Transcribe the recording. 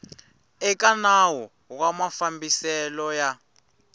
eka nawu wa mafambiselo ya